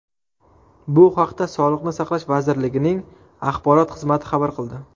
Bu haqda Sog‘liqni saqlash vazirligining axborot xizmati xabar qildi .